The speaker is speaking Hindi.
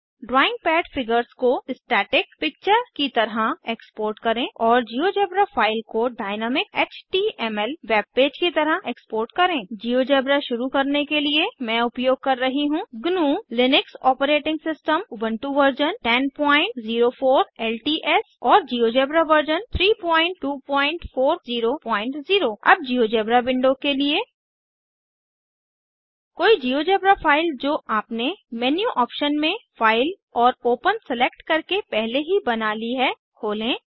ड्राइंग पैड फिगर्स को स्टैटिक पिक्चर की तरह एक्सपोर्ट करें और जिओजेब्रा फाइल को डयनैमिक एचटीएमएल वेबपेज की तरह एक्सपोर्ट करें जिओजेब्रा शुरू करने के लिए मैं उपयोग कर रही हूँ GNUलिनक्स operating system Ubuntu version 1004 LTS और जिओजेब्रा वर्जन 32400 अब जिओजेब्रा विंडो के लिए कोई जिओजेब्रा फाइल जो आपने मेन्यू ऑप्शन में फाइल और ओपन सेलेक्ट करके पहले ही बना ली है खोलें